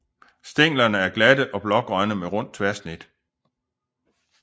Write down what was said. Stænglerne er glatte og blågrønne med rundt tværsnit